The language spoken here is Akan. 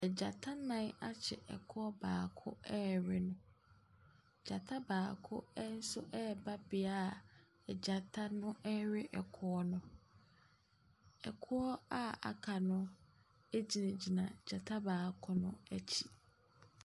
Gyanta nnan akye ɛkoɔ baako rewe no. Gyata baako nso reba bea a gyata rewe ɛkoɔ no. Ɛkoɔ a aka no agyinagyina gyata baako no akyi.